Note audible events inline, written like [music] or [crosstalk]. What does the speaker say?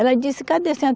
Ela disse, cadê [unintelligible]